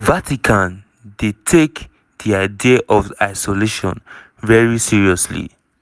"di vatican dey take di idea of isolation very seriously."